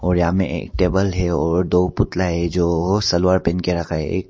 और यहां में एक टेबल है और दो पुतला है जो सलवार पहन के रखा है एक।